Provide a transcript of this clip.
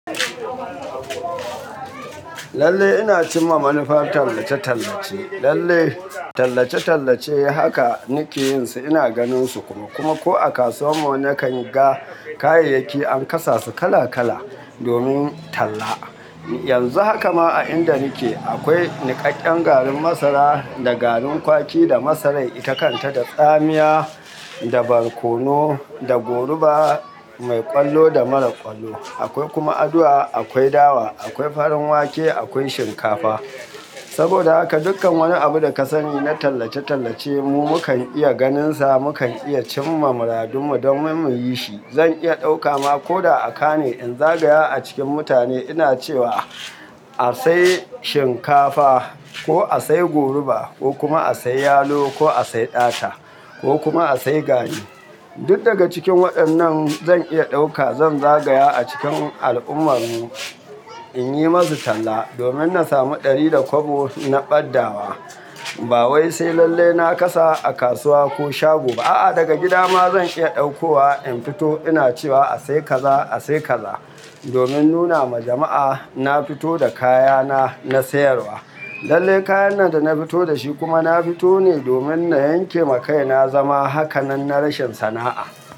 Lallai ina cimma manufar tallace-tallace. Lallai tallace-tallace haka nake yin su ina ganin su kuma. Kuma ko a kasuwar mu na kan ga kayayyaki an kasa su kala-kala domin talla. Yanzu haka ma a inda nake akwai niƙaƙƙen garin masara da garin kwaki da masarar itakanta da tsamiya da barkono da goruba mai ƙwallo da marar ƙwallo. Akwai kuma aduwa, akwai dawa, akwai farin wake, akwai shinkafa. Saboda haka dukkan wani abu da ka sani na tallace-tallace mu mu kan iya ganin sa, mu kan iya cimma muradun mu domin mu yi shi. Zan iya ɗauka ma ko da a Ka ne in zagaya a cikin mutane ina cewa "a sai shinkafa" ko "a sai goruba" ko kuma "a sai yalo" ko "a sai ɗata" ko kuma "a sai gari". Duk daga cikin waɗannan zan iya ɗauka zan zagaya a cikin al'ummar mu in yi masu talla domin na samu ɗari da kwabo na ɓaddawa. Ba wai sai lallai na kasa a kasuwa ko shago ba a'a daga gida ma zan iya ɗaukowa in fito ina cewa "a sai kaza, a sai kaza" domin nuna ma jama'a na fito da kaya na, na sayarwa. Lallai kayan nan da na fito da shi kuma na fito ne domin na yanke ma kaina zama. Hakanan na rashin sana'a.